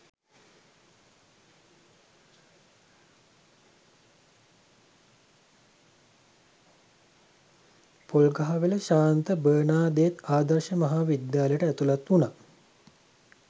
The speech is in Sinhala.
පොල්ගහවෙල ශාන්ත බර්නාදෙත් ආදර්ශ මහා විද්‍යාලයට ඇතුළත් වුණා